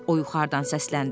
O yuxarıdan səsləndi.